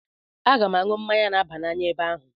Aga m aṅụ mmanya na-aba n'anya ebe ahụ.